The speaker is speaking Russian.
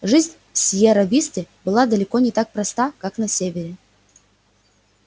жизнь в сиерра висте была далеко не так проста как на севере